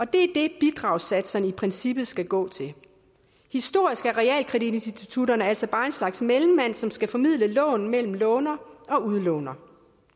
det er det bidragssatserne i princippet skal gå til historisk er realkreditinstitutterne altså bare en slags mellemmand som skal formidle lån mellem låner og udlåner